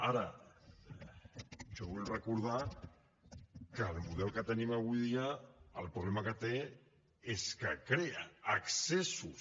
ara jo vull recordar que el model que tenim avui dia el problema que té és que crea excessos